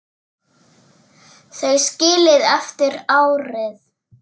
Þau skilin eftir árið.